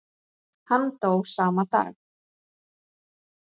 Hann dó sama dag.